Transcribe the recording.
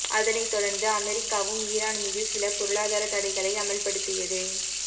அதனைத் தொடர்ந்து அமெரிக்காவும் ஈரான் மீது சில பொருளாதாரத் தடைகளை அமல் படுத்தியது